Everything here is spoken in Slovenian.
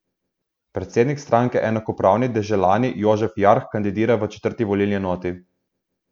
Predsednik stranke Enakopravni deželani Jožef Jarh kandidira v četrti volilni enoti.